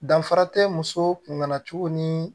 Danfara tɛ muso kun ŋana cogo nii